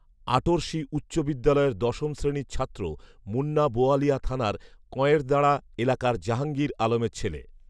আটরশি উচ্চ বিদ্যালয়ের দশম শ্রেণির ছাত্র মুন্না বোয়ালিয়া থানার কঁয়েরদাঁড়া এলাকার জাহাঙ্গীর আলমের ছেলে